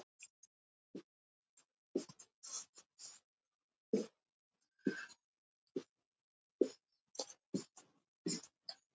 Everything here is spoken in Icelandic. Segðu mér aðeins, hvað voruð þið að gera hérna með þessari tískusýningu?